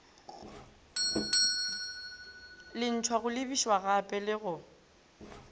lentshwa go lebišagape le go